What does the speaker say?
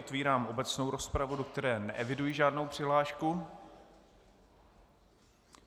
Otevírám obecnou rozpravu, do které neeviduji žádnou přihlášku.